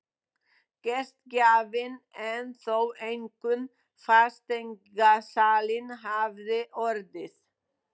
Gestgjafinn en þó einkum fasteignasalinn hafði orðið.